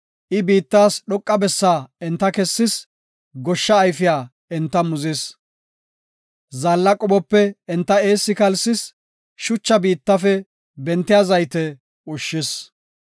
I biittas dhoqa bessaa enta kessis; goshsha ayfiya enta muzis. Zaalla qophope enta eessi kalsis; shucha biittafe bentiya zayte ushshis.